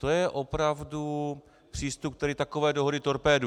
To je opravdu přístup, který takové dohody torpéduje.